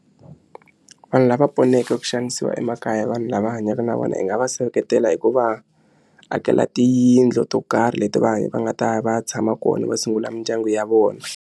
Vanhu lava poneke ku xanisiwa emakaya vanhu lava hanyaka na vona hi nga va seketela hi ku va akela tiyindlu to karhi leti va va nga ta ya va ya tshama kona va sungula mindyangu ya vona.